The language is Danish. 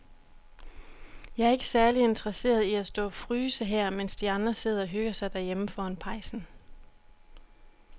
Jeg er ikke særlig interesseret i at stå og fryse her, mens de andre sidder og hygger sig derhjemme foran pejsen.